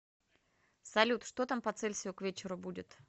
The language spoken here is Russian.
салют что там по цельсию к вечеру будет